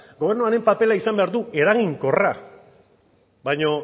gobernuaren papera izan behar du eraginkorra baina